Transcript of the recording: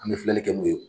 An bɛ filɛli kɛ n'o ye